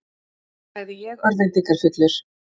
sagði ég örvæntingarfullur.